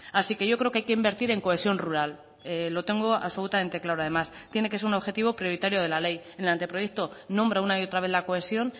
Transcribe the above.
así que yo creo que hay que invertir en cohesión rural lo tengo absolutamente claro además tiene que ser un objetivo prioritario de la ley en el ante proyecto nombra una y otra vez la cohesión